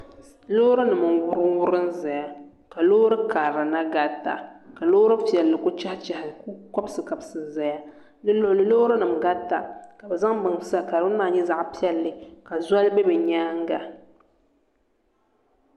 Loori nim n wurim wurim ʒɛya ka loori karili na garita ka loori piɛlli ku chɛhi chɛhi n ku kabisi kabisi ʒɛya di luɣuli loori nim garita ka bi zaŋ bini sa ka bini maa nyɛ zaɣ piɛlli ka zoli bɛ bi nyaanga